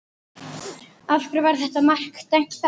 Af hverju var þetta mark dæmt af?